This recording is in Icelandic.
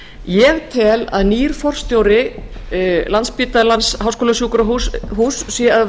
ég tel að nýr forstjóri landspítala háskólasjúkrahúss sé að